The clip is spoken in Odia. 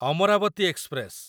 ଅମରାବତୀ ଏକ୍ସପ୍ରେସ